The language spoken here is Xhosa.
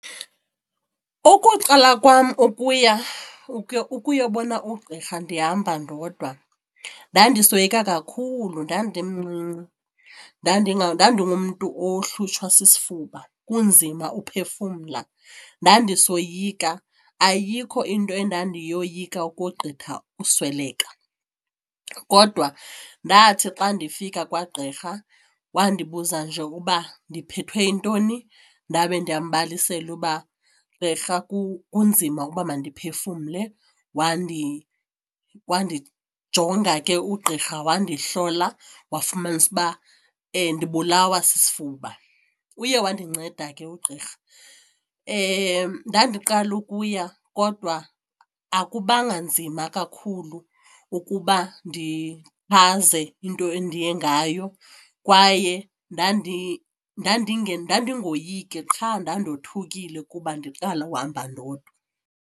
Ukuqala kwam ukuya ukuyobona ugqirha ndihamba ndodwa ndandisoyika kakhulu ndandimncinci ndandingumntu ohlutshwa sisifuba kunzima uphefumla. Ndandisoyika, ayikho into endandiyoyika ukogqitha usweleka kodwa ndathi xa ndifika kwagqirha wandibuza nje uba ndiphethwe yintoni ndabe ndiyambalisela uba, gqirha kunzima uba mandiphefumle. Wandijonga ke ugqirha, wandihlola wafumanisa uba ndibulawa sisifuba. Uye wandinceda ke ugqirha. Ndandiqala ukuya kodwa akubanga nzima kakhulu ukuba into endiye ngayo kwaye ndandingoyiki qha ndandothukile kuba ndiqale uhamba ndodwa.